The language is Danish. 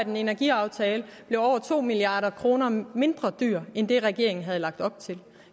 en energiaftale bliver over to milliard kroner billigere end det regeringen havde lagt op til